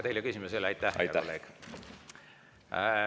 Teile küsimusi ei ole.